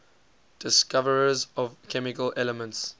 discoverers of chemical elements